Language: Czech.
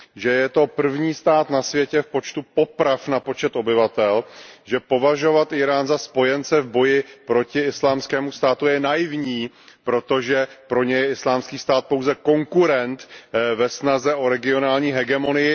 Že je to první stát na světě v počtu poprav na počet obyvatel, že považovat Írán za spojence v boji proti Islámskému státu je naivní, protože pro ně je Islámský stát pouze konkurent ve snaze o regionální hegemonii.